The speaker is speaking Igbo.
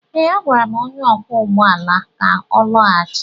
Ee, agwara m onye ọkwọ ụgbọ ala ka ọ lọghachi.